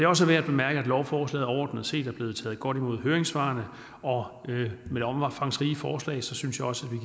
også værd at bemærke at lovforslaget overordnet set er blevet taget godt imod i høringssvarene og med det omfangsrige forslag synes jeg også